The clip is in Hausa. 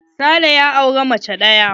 Sale ya auri mace ɗaya.